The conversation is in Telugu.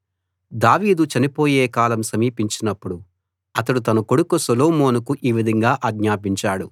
దావీదు చనిపోయే కాలం సమీపించినపుడు అతడు తన కొడుకు సొలొమోనుకు ఈ విధంగా ఆజ్ఞాపించాడు